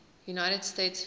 united states fish